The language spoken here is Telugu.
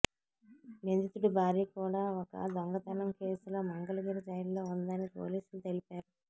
నిందితుడి భార్య కూడా ఒక దొంగతనం కేసులో మంగళగిరి జైల్లో ఉందని పోలీసులు తెలిపారు